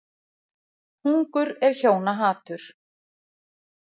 Hungur er hjóna hatur.